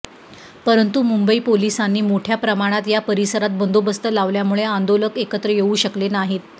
परंतु मुंबई पोलिसांनी मोठ्या प्रमाणात या परिसरात बंदोबस्त लावल्यामुळे आंदोलक एकत्र येऊ शकले नाहीत